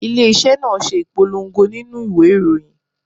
Ilé iṣẹ́ náà ṣe ìpolongo nínú ìwé ìròyìn.